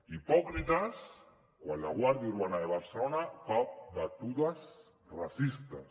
hipòcrites quan la guàrdia urbana de barcelona fa batudes racistes